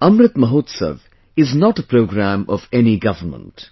Amrit Mahotsav is not a programme of any government;